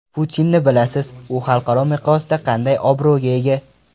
Putinni bilasiz, u xalqaro miqyosda qanday obro‘ga ega.